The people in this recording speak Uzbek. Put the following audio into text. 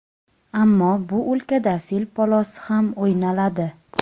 Ammo bu o‘lkada fil polosi ham o‘ynaladi.